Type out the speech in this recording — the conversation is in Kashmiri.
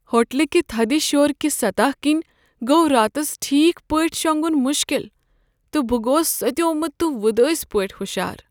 ہوٹل كہِ تھدِ شوركۍ سطح كِنۍ گوٚو راتس ٹھیک پٲٹھۍ شونگُن مُشكِل، تہٕ بہٕ گوس سۄتیومُت تہٕ وُدٲسۍ پٲٹھۍ ہُشار۔